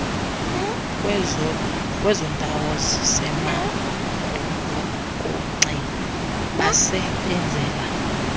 kwezondawo zisemagolokonxeni basebenzela